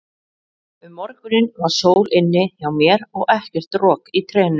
Um morguninn var sól inni hjá mér og ekkert rok í trénu.